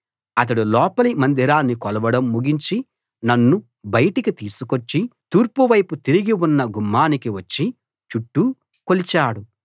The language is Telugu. అతడు లోపలి మందిరాన్ని కొలవడం ముగించి నన్ను బయటికి తీసుకొచ్చి తూర్పువైపు తిరిగి ఉన్న గుమ్మానికి వచ్చి చుట్టూ కొలిచాడు